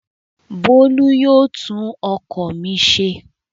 Bólú yóò tún ọkọ̀ mi ṣe.